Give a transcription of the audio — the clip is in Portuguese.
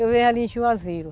Eu venho ali Juazeiro.